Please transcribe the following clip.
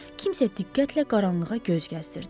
Kimsə diqqətlə qaranlığa göz gəzdirdi.